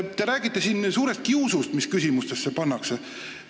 Te räägite siin suurest kiusust, mis küsimustesse olevat pandud.